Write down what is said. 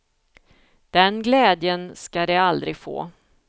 Den glädjen ska de aldrig få.